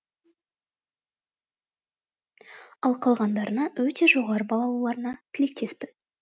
ал қалғандарына өте жоғары балл алуларына тілектеспін